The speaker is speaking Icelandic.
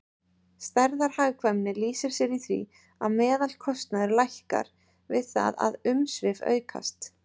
Stærðarhagkvæmni lýsir sér í því að meðalkostnaður lækkar við það að umsvif aukast.